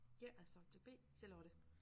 Jeg er subjekt B Charlotte